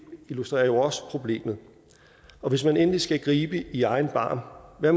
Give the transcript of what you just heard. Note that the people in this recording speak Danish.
illustrerer jo også problemet hvis man endelig skal gribe i egen barm hvad